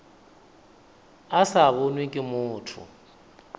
a sa bonwe ke motho